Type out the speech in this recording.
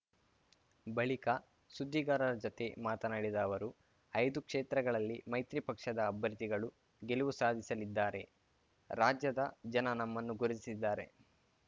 ಬಳಿಕ ಸುದ್ದಿಗಾರರ ಜತೆ ಮಾತನಾಡಿದ ಅವರು ಐದು ಕ್ಷೇತ್ರಗಳಲ್ಲಿ ಮೈತ್ರಿ ಪಕ್ಷದ ಅಭ್ಯರ್ಥಿಗಳು ಗೆಲುವು ಸಾಧಿಸಲಿದ್ದಾರೆ ರಾಜ್ಯದ ಜನ ನಮ್ಮನ್ನು ಗುರುತಿಸಿದ್ದಾರೆ